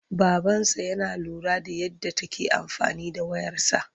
Babansa yana lura da yadda take amfani da wayarsa..